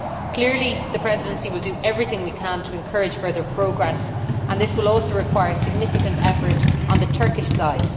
Clearly, the Presidency will do everything it can to encourage further progress, and this will also require significant effort on the Turkish side.